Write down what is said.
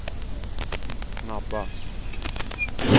snabba